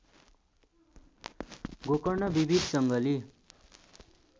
गोकर्ण विविध जङ्गली